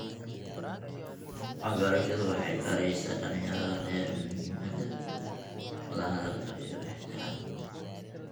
Waxbarashadu waxay baraysaa dhalinyarada rer muhiimada wada hadalka iyo ixtiraamka.